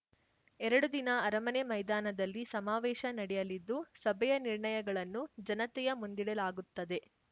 ಎರಡು ದಿನ ಅರಮನೆ ಮೈದಾನದಲ್ಲಿ ಸಮಾವೇಶ ನಡೆಯಲಿದ್ದು ಸಭೆಯ ನಿರ್ಣಯಗಳನ್ನು ಜನತೆಯ ಮುಂದಿಡಲಾಗುತ್ತದೆ